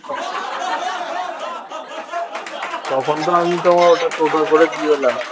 তখন তো আমি তোমার ওটা টোটোয় করে দিয়ে এলাম